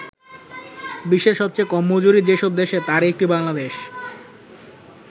বিশ্বের সবচেয়ে কম মজুরি যেসব দেশে তার একটি বাংলাদেশ।